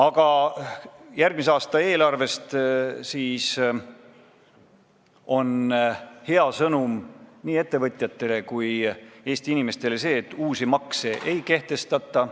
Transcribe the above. Aga järgmise aasta eelarvega seoses on hea sõnum nii ettevõtjatele kui Eesti inimestele see, et uusi makse ei kehtestata.